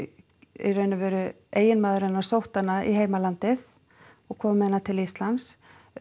í raun og veru eiginmaður sótti hana í heimalandið og kom með hana til Íslands